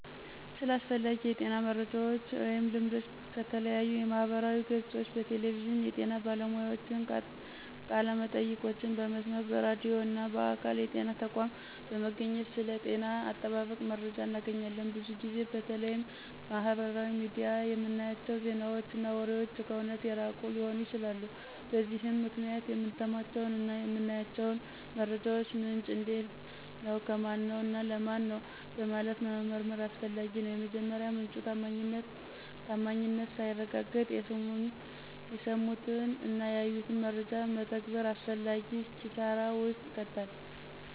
ስለ አስፈላጊ የጤና መረጃወች ወይም ልምዶች ከተለያዩ የማህበራዊ ገፆች፣ በቴሌቪዥን የጤና ባለሙያዎችን ቃለመጠይቆችን በመስማት፣ በራድዩ እና በአካል የጤና ተቋም በመገኘት ስለ ጤና አጠባበቅ መረጃ እናገኛለን። ብዙ ጊዜ በተለይም ማህበራዊ ሚዲያ ላይ የምናያቸው ዜናወች እና ወሬወች ከእውነት የራቁ ሊሆኑ ይችላሉ። በዚህም ምክንያት የምንሰማቸውን እና የምናያቸውን መረጃወች ምንጭ እንዴት ነው፣ ከማነው፣ እና ለማን ነው በማለት መመርመር አስፈላጊ ነው። የመረጃ ምንጩ ታማኝነት ሳይረጋገጥ የሰሙትን እና ያዩትን መረጃ መተግበር አላስፈላጊ ኪሳራ ውስጥ ይከታል።